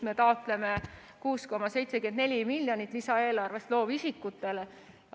Me taotleme 6,74 miljonit lisaeelarvest loovisikutele.